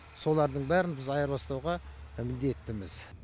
солардың бәрін біз айырбастауға міндеттіміз